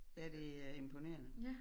Ja det er imponerende